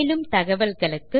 மேலும் தகவல்களுக்கு